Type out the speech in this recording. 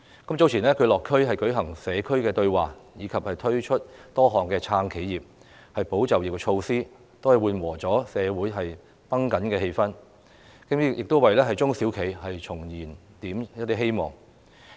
特首早前落區舉行社區對話，以及推出多項"撐企業、保就業"措施，緩和了社會繃緊的氣氛，亦為中小企重燃了希望。